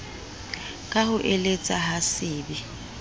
ka hoeletsa ha se be